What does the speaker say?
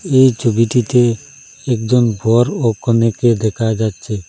এই ছবিটিতে একজন বর ও কনেকে দেখা যাচ্ছে।